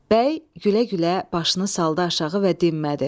Bəy gülə-gülə başını saldı aşağı və dinmədi.